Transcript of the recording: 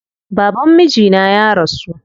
Baban mijina ya rasu.